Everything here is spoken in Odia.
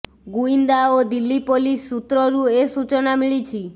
ଗୁଇନ୍ଦା ଓ ଦିଲ୍ଲୀ ପୋଲିସ ସୂତ୍ରରୁ ଏ ସୂଚନା ମିଳିଛି